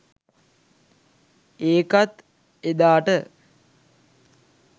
ඒකත් එදාට